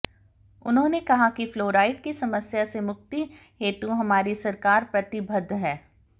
उन्होंने कहा कि फ्लोराइड की समस्या से मुक्ति हेतु हमारी सरकार प्रतिबद्ध है